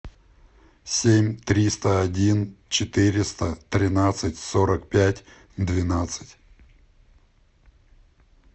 семь триста один четыреста тринадцать сорок пять двенадцать